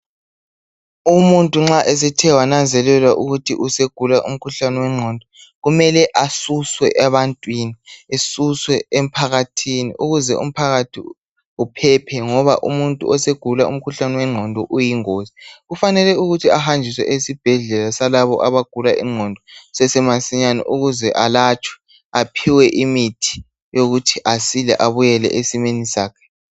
Umuntu nxa esethe wananzelelwa ukuthi segula umkhuhlane wengqondo kumele asuswe ebantwini asuswe emphakathini ukuze umphakathi uphephe ngoba umuntu osegula umkhuhlane wengqondo iyingozi kufanele ukuthi ahanjiswe esibhedlela salabo abagula ingqondo kusesemasinyane ukuze alatshwe aphiwe imithi yokuthi aphile abuyele esimeni sakhe